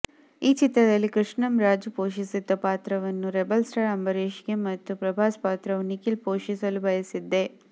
ಈ ಚಿತ್ರದಲ್ಲಿ ಕೃಷ್ಣಂ ರಾಜು ಪೋಷಿಸಿದ್ದ ಪಾತ್ರವನ್ನು ರೆಬೆಲ್ ಸ್ಟಾರ್ ಅಂಬರೀಶ್ಗೆ ಮತ್ತು ಪ್ರಭಾಸ್ ಪಾತ್ರವನ್ನು ನಿಖಿಲ್ ಪೋಷಿಸಲು ಬಯಸಿದ್ದೆ